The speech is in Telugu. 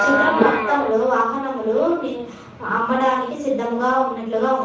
చిత్రం మొత్తం లో వాహనలు అమడానికి సిధంగ వున్నట్లుగ వుంది.